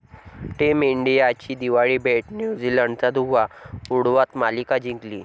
team इंडियाची दिवाळी भेट, न्यूझीलंडचा धुव्वा उडवत मालिका जिंकली